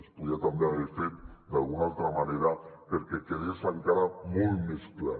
es podia també haver fet d’alguna altra manera perquè quedés encara molt més clar